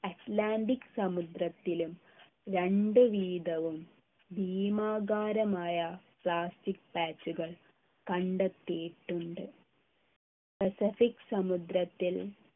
Atlantic സമുദ്രത്തിലും രണ്ട് വീതവും ഭീമാകാരമായ plastic patch കൾ കണ്ടെത്തിയിട്ടുണ്ട് പസഫിക് സമുദ്രത്തിൽ